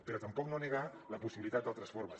però tampoc no negar la possibilitat d’altres formes